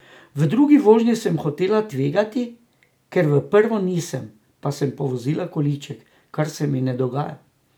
V drugi vožnji sem hotela tvegati, kar v prvo nisem, pa sem povozila količek, kar se mi ne dogaja.